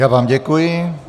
Já vám děkuji.